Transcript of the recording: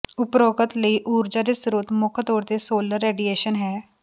ਉਪਰੋਕਤ ਲਈ ਊਰਜਾ ਦੇ ਸਰੋਤ ਮੁੱਖ ਤੌਰ ਤੇ ਸੋਲਰ ਰੇਡੀਏਸ਼ਨ ਹੈ